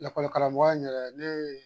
Lakɔlikaramɔgɔya in yɛrɛ ne